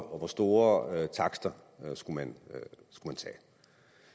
og hvor store takster man skulle tage